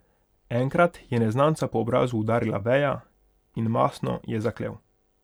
Enkrat je neznanca po obrazu udarila veja, in mastno je zaklel.